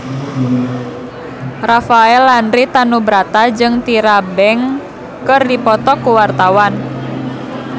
Rafael Landry Tanubrata jeung Tyra Banks keur dipoto ku wartawan